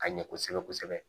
Ka ɲɛ kosɛbɛ kosɛbɛ